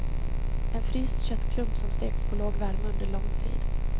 En fryst köttklump som steks på låg värme under lång tid.